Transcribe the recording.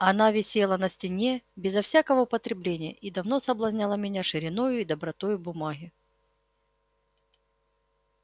она висела на стене безо всякого употребления и давно соблазняла меня шириною и добротою бумаги